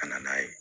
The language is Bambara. Ka na n'a ye